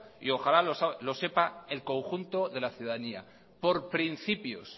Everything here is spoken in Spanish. y ojalá lo sepa el conjunto de la ciudadanía